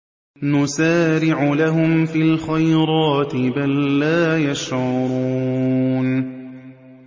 نُسَارِعُ لَهُمْ فِي الْخَيْرَاتِ ۚ بَل لَّا يَشْعُرُونَ